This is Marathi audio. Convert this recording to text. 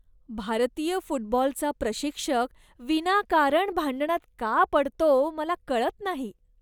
भारतीय फुटबॉलचा प्रशिक्षक विनाकारण भांडणात का पडतो मला कळत नाही.